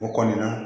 O kɔni na